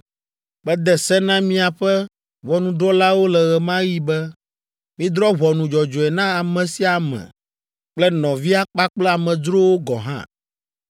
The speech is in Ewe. Mede se na miaƒe ʋɔnudrɔ̃lawo le ɣe ma ɣi be, “Midrɔ̃ ʋɔnu dzɔdzɔe na ame sia ame kple nɔvia kpakple amedzrowo gɔ̃ hã.